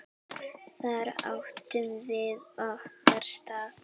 Þar áttum við okkar stað.